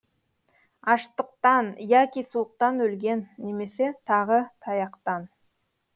аштықтан яки суықтан өлген немесе тағы таяқтан